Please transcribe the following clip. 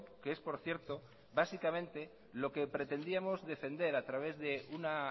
que es por cierto básicamente lo que pretendíamos defender a través de una